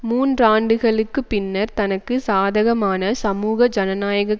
மூன்றாண்டுகளுக்குப் பின்னர் தனக்கு சாதகமான சமூக ஜனநாயக